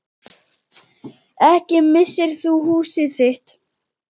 Ekki missir þú húsið þitt.